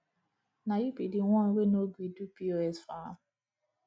na you be the one wey no gree do pos for am